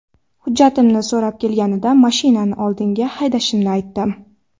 Hujjatimni so‘rab kelganida mashinani oldinga haydashimni aytdim.